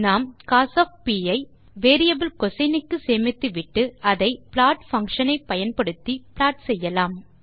நாம் கோஸ் ஐ வேரியபிள் கோசின் க்கு சேமித்துவிட்டு பின் அதை ப்ளாட் பங்ஷன் ஐ பயன்படுத்தி ப்லாட் செய்யலாம்